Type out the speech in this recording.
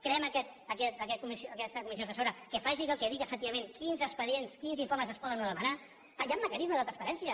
creem aquesta comissió assessora que faci que digui efectivament quins expedients quins informes es poden o no demanar hi han mecanismes de transparència